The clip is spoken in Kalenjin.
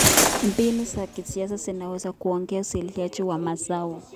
Mbinu za kisasa zinaweza kuongeza uzalishaji wa mazao.